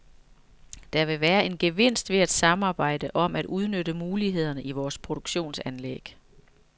Der vil være en gevinst ved at samarbejde om at udnytte mulighederne i vores produktionsanlæg.